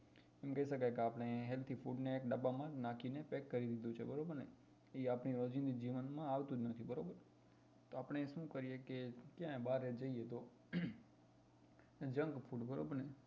એમ કહી શકાય કે healthy food એક ડબ્બા માં નાખીને pack કરી દીધું છે બરોબર ને એ આપડા રોજિંદા જીવન માં આવતું જ નથી બરોબર તો આપણે શું કહીએ કે આપણે બહાર જઈએ તો junk food બરોબર ને